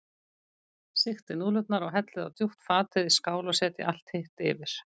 Sigtið núðlurnar og hellið á djúpt fat eða í skál og setjið allt hitt yfir.